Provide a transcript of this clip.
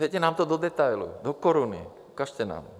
Dejte nám to do detailu, do koruny, ukažte nám!